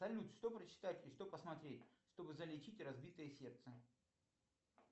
салют что почитать и что посмотреть чтобы залечить разбитое сердце